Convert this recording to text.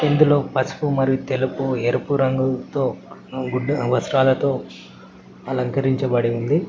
ఇందులో పసుపు మరియు తెలుపు ఎరుపు రంగుల్తో వస్త్రాలతో అలంకరించబడి ఉంది.